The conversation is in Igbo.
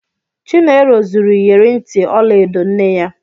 Chinelo zuru ịyerị ntị ọla edo nne ya.